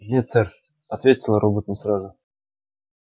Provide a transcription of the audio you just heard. нет сэр ответил робот не сразу